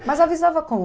Mas avisava como?